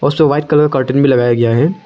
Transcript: और उसपे white colour का कर्टन भी लगाया गया है।